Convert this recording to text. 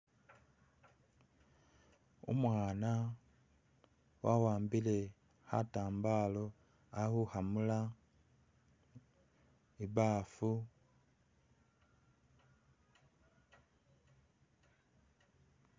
Umwana wa'wambile khatambalo ali khukhamula, ibaafu.